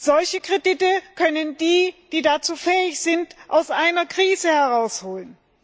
Solche Kredite können die, die dazu fähig sind, aus einer Krise herausholen.